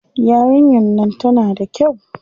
Yarinyar nan tana da kyau.